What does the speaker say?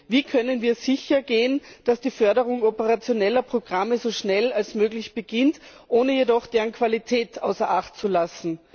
Wie können wir sichergehen, dass die Förderung operationeller Programme so schnell wie möglich beginnt, ohne jedoch deren Qualität außer Acht zu lassen?